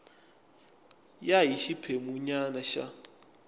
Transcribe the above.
ya hi xiphemu nyana xa